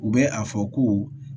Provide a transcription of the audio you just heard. U bɛ a fɔ ko